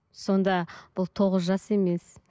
сонда бұл тоғыз жас емес